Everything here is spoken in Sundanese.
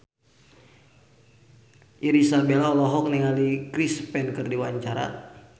Irish Bella olohok ningali Chris Pane keur diwawancara